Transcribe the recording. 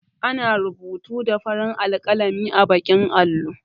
Ana rubutu da farin alƙalami a baƙin allo